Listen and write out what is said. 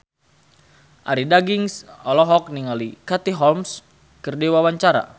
Arie Daginks olohok ningali Katie Holmes keur diwawancara